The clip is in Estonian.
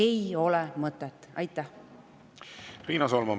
Riina Solman, palun!